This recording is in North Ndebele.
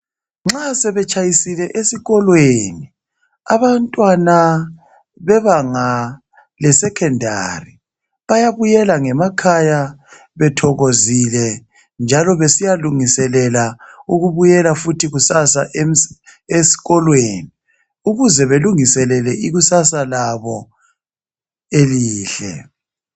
Nxa sebetshayisile esikolweni abantwana bebanga lesecondary bayabuyela ngemakhaya bethokozile njalo besiya lungiselela ukubuyela futhi kusasa esikolweni ukuze belungiselele ikusasa labo elihle.